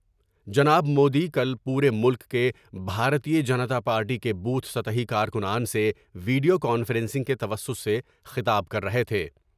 جناب مودی کل پورے ملک کے بھارتیہ جنتا پارٹی کے بوتھ سطحی کارکنان سے ویڈیو کانفرنسنگ کے توسط سے خطاب کر رہے تھے ۔